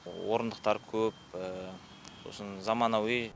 орындықтар көп сосын заманауи